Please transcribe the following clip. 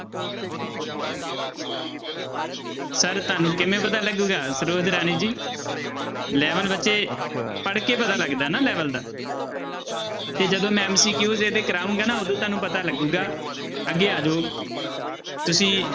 Sir ਤੁਹਾਨੂੰ ਕਿਵੇਂ ਪਤਾ ਲੱਗੇਗਾ ਸਰੋਜ ਰਾਣੀ ਜੀ level ਬੱਚੇ ਪੜ੍ਹਕੇ ਪਤਾ ਲੱਗਦਾ ਨਾ level ਦਾ ਕਿ ਜਦੋਂ ਮੈਂ MCQ ਇਹਦੇ ਕਰਵਾਊਂਗਾ ਨਾ ਉਦੋਂ ਤੁਹਾਨੂੰ ਪਤਾ ਲੱਗੇਗਾ ਅੱਗੇ ਆ ਜਾਓ ਤੁਸੀਂ